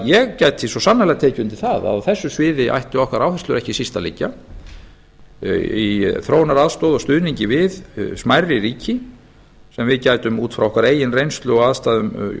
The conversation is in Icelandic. ég gæti svo sannarlega tekið undir það að á þessu sviði ættu okkar áherslur ekki síst að liggja í þróunaraðstoð og stuðningi við smærri ríki sem við gætum út frá okkar eigin reynslu og aðstæðum